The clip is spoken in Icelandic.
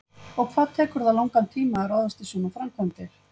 Og hvað tekur það langan tíma að ráðast í svona framkvæmdir?